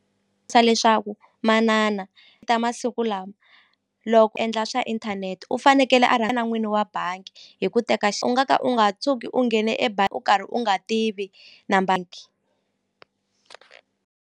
leswaku manana ta masiku lama loko u endla swa inthanete u fanekele a na n'wini wa bangi hi ku teka u nga ka u nga tshuki u nghene u karhi u nga tivi na .